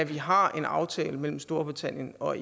vi har en aftale mellem storbritannien og